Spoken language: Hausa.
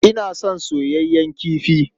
Ina son soyayyen kifi.